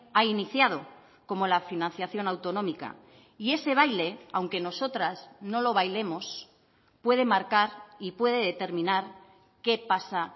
ha iniciado como la financiación autonómica y ese baile aunque nosotras no lo bailemos puede marcar y puede determinar qué pasa